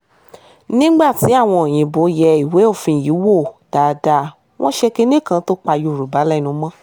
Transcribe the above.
nígbà tí àwọn òyìnbó yẹ ìwé òfin yìí wò dáadáa wọn ṣe kinní kan tó pa yorùbá lẹ́nu mọ́